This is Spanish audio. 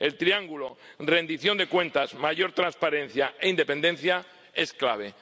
El triángulo rendición de cuentas, mayor transparencia e independencia es clave.